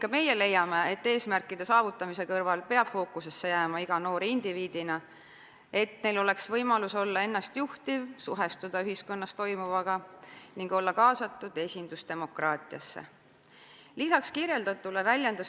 Ka meie leiame, et eesmärkide saavutamise kõrval peab fookusesse jääma iga noor indiviidina, et noortel oleks võimalus olla ennast juhtiv, suhestuda ühiskonnas toimuvaga ning olla kaasatud esindusdemokraatiasse.